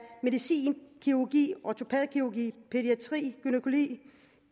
medicin kirurgi ortopædkirurgi pædiatri gynækologi